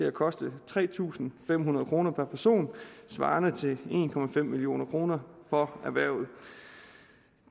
at koste tre tusind fem hundrede kroner per person svarende til en million kroner for erhvervet